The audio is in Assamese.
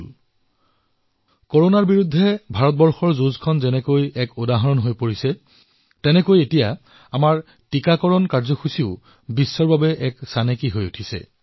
যিদৰে কৰোনাৰ বিৰুদ্ধে ভাৰতৰ যুদ্ধ এক উদাহৰণলৈ ৰূপান্তৰিত হৈছে ঠিক সেইদৰে এতিয়া আমাৰ টীকাকৰণ কাৰ্যসূচীও বিশ্বত এক আদৰ্শ হিচাপে বিবেচিত হৈছে